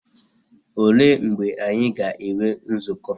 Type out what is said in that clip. Olee mgbe anyị na-enwe nzukọ?